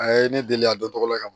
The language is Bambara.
A ye ne deli a dɔn tɔgɔ la ka ban